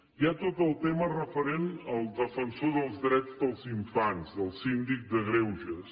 hi ha tot el tema referent al defensor dels drets dels infants del síndic de greuges